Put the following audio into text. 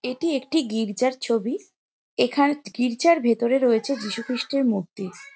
এটি একটি গির্জার ছবি এখানে গির্জার ভিতরে রয়েছে যিশুখ্রিস্টের মূর্তি।